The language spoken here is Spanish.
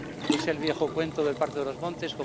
Es el viejo cuento del parto de los montes.